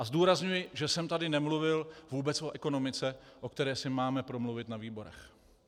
A zdůrazňuji, že jsem tady nemluvil vůbec o ekonomice, o které si máme promluvit na výborech.